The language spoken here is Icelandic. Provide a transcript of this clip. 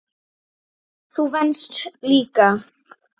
Þú venst líka.